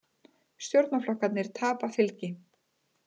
Stjórnarflokkarnir tapa fylgi